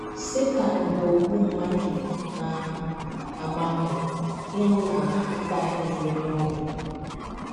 Setan, bụ́ “ ogbu mmadụ, ” na - agba mbọ ịhụ na a mataghị ụdị onye ọ bụ.